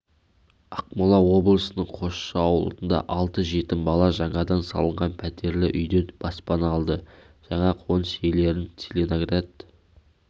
ақмола облысының қосшы ауылында алты жетім бала жаңадан салынған пәтерліүйден баспана алды жаңа қоныс иелерін целиноград